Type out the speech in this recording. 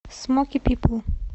смоки пипл